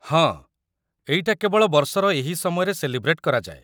ହଁ, ଏଇଟା କେବଳ ବର୍ଷର ଏହି ସମୟରେ ସେଲିବ୍ରେଟ୍ କରାଯାଏ ।